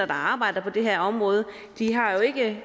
der arbejder på det her område har jo ikke